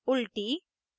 * उलटी